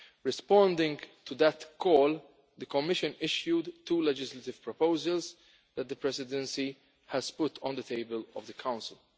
Responding to that call, the Commission issued two legislative proposals that the Presidency has put on the table in the Council.